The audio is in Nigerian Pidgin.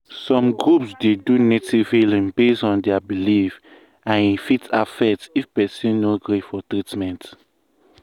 some groups dey do native healing based on their belief and e fit affect if person go gree for treatment.